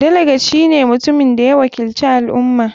Delegate shine mutumin da ya wakilci al ummah.